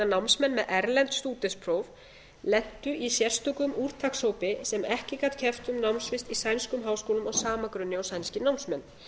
námsmenn með erlend stúdentspróf lentu í sérstökum úrtakshópi sem ekki gat keppt um námsvist í sænskum háskólum á sama grunni og sænskir námsmenn